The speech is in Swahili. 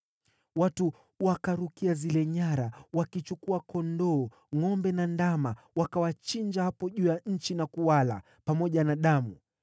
Watu wakarukia zile nyara, wakichukua kondoo, ngʼombe na ndama, wakawachinja hapo juu ya nchi na kuwala, pamoja na damu.